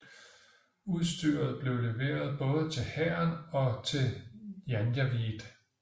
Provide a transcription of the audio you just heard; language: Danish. Udstyret blev leveret både til hæren og til janjaweed